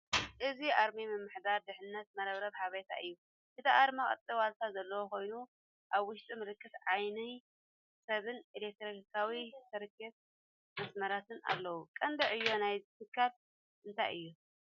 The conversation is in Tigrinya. እዚ ኣርማ ምምሕዳር ድሕንነት መርበብ ሓበሬታ እዩ። እቲ ኣርማ ቅርጺ ዋልታ ዘለዎ ኮይኑ፡ ኣብ ውሽጡ ምልክት ዓይኒ ሰብን ኤሌክትሮኒካዊ ሰርኪዩት/መስመራትን ኣለዎ። ቀንዲ ዕዮ ናይዚ ትካል እንታይ እዩ?